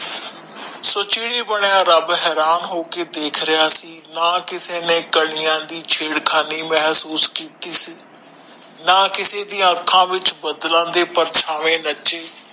ਸੁਚ ਵੀ ਨੀ ਬਨਯਾ ਰਬ ਹਰਾਨ ਹੋਕੇ ਦੇਖ ਰਿਹਾ ਸੀ ਨਾ ਕਿਸੇ ਨੇ ਕਨੀਆਂ ਦੀ ਛੇੜਕਾਣੀ ਮਹਸੋਸ਼ ਕੀਤੀ ਸੀ ਨਾ ਕਿਸੇ ਦੀ ਅਣਖਾਂ ਵਿਚ ਬਦਲਨ ਦੇ ਪਰਚਾਵੇ ਨਚੇ